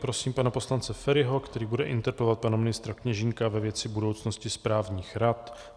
Prosím pana poslance Feriho, který bude interpelovat pana ministra Kněžínka ve věci budoucnosti správních rad.